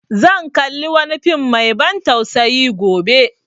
Zan kalli wani fim mai ban tsausayi gobe